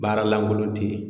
Baara lankolon tɛ yen